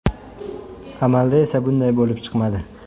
Amalda esa bunday bo‘lib chiqmadi.